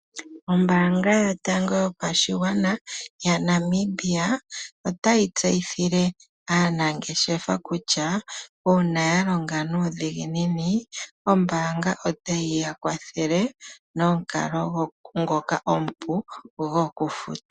Ombaanga yotango yopashigwana yaNamibia, otayi tseyithile aanangeshefa kutya, uuna yalonga nuudhiginini, ombaanga otayi yakwathele nomukalo ngoka omupu gwokufuta.